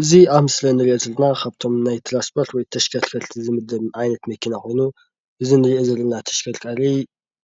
እዚ ኣብ ምስሊ ንርኢዮ ካብቶም ናይ ትራንስፖርት ወይ ተሸከርከርቲ ዝምደብ ዓይነት መኪና ኮይኑ እዚ ንርእዮ ዘለና ተሽከርካሪ